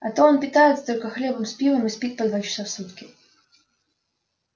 а то он питается только хлебом с пивом и спит по два часа в сутки